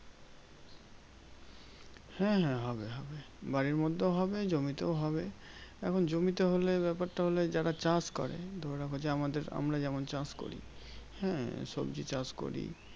হ্যাঁ হ্যাঁ হবে হবে। বাড়ির মধ্যেও হবে জমিতেও হবে। এখন জমিতে হলে ব্যাপারটা হলে যারা চাষ করে ধরে রাখো যে আমাদের আমরা যেমন চাষ করি, হ্যাঁ? সবজি চাষ করি